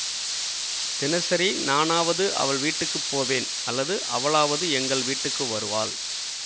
தினசரி நானாவது அவள் வீட்டுக்கு போவேன் அல்லது அவளாவது எங்கள் வீட்டுக்கு வருவாள்